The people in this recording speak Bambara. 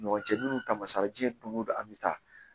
Ɲɔgɔncɛ minnu taamasiyɛn don o don an bɛ taa